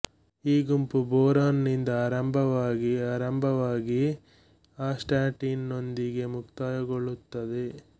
ಈ ಗುಂಪು ಬೋರಾನ್ ನಿಂದ ಆರಂಭವಾಗಿ ಆರಂಭವಾಗಿ ಆಸ್ಟಾಟಿನ್ ನೊಂದಿಗೆ ಮುಕ್ತಾಯಗೊಳ್ಳುತ್ತದೆ